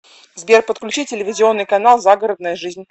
сбер подключи телевизионный канал загородная жизнь